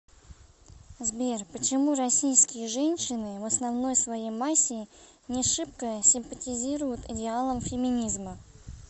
сбер почему российские женщины в основной своей массе не шибко симпатизируют идеалам феминизма